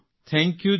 થેંક્યુજી